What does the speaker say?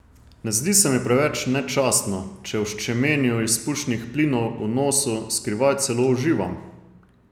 Ne zdi se mi preveč nečastno, če v ščemenju izpušnih plinov v nosu skrivaj celo uživam.